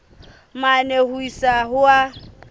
mane ho isa ho a